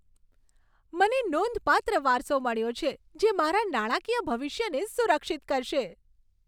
મને નોંધપાત્ર વારસો મળ્યો છે, જે મારા નાણાકીય ભવિષ્યને સુરક્ષિત કરશે.